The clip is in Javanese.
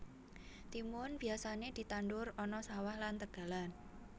Timun biyasané ditandur ana sawah lan tegalan